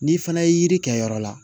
N'i fana ye yiri kɛ yɔrɔ la